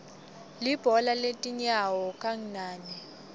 libhola letinyano kangnane